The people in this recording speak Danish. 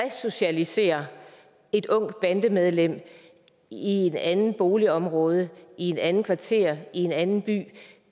resocialisere et ungt bandemedlem i et andet boligområde i et andet kvarter i en anden by